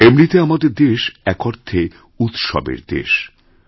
এমনিতে আমাদের দেশ এক অর্থেউৎসবের দেশ